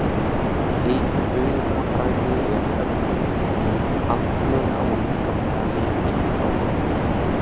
einu augabragði er öll mín andlega og líkamlega linkind á brott.